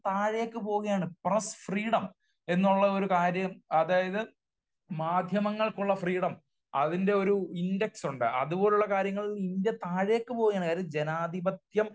താഴേയ്ക്ക് പോകുകയാണ്. Press freedom, അതായത് മാധ്യമങ്ങൾക്കുള്ള ഫ്രീഡം അതിന്റെ ഒരു ഇൻഡെക്സ് ഉണ്ട്. അതുപോലുള്ള കാര്യങ്ങളിൽ ഇന്ത്യ താഴേയ്ക്ക് പോകുകയാണ്. അതായത് ജനാധിപത്യം,